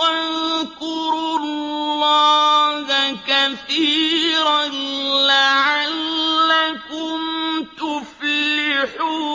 وَاذْكُرُوا اللَّهَ كَثِيرًا لَّعَلَّكُمْ تُفْلِحُونَ